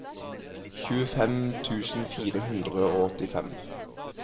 tjuefem tusen fire hundre og åttifem